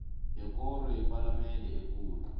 yekoro yepalamende ekulu